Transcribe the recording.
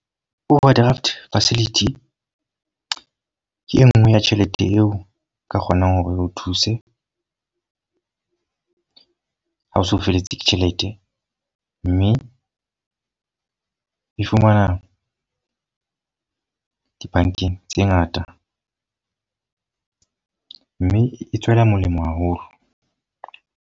Overdraft facility ke e nngwe ya tjhelete eo nka kgonang hore o thuse ha o se o feletswe ke tjhelete. Mme e fumana dibankeng tse ngata. mme e tswela molemo haholo.